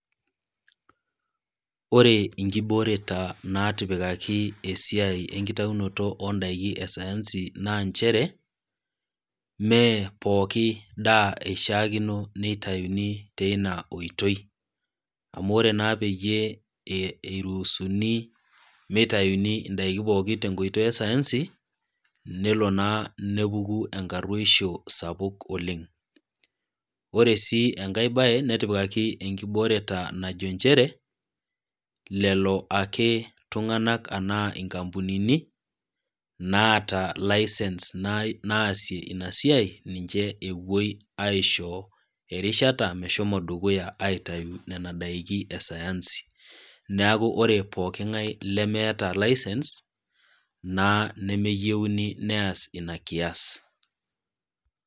ore inkibooreta natipikaki esiai enkitayunoto oo ndaiki e sayansi njere, mee pooki daa eishaakino neitayuni teina oitoi, amu ore peyie eiruusuni meitayuni indaiki pooki e sayansi, nelo naa nepuku enkaruoisho sapuk oleng'. Ore sii enkai bae netipikaki enkibooreta najo nchere, lelo tung'anak ake anaa inkampunini naata license naasie ina siai, ninche epuoi aisho erishata meshomo dukuya aishoo aitayu nena daiki e sayansi. Neaku ore pooki ng'ae lemeata license naa nemeyouni neas ina kias.